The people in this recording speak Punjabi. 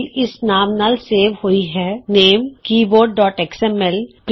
ਫਾਈਲ ਇਸ ਨਾਮ ਨਾਲ ਸੇਵ ਹੋਈ ਹੈ ltਨੇਮ gtਕੀਬੋਰਡਐਕਸ ਐਮ ਐਲ ਲਟਨਾਮੈਗਟ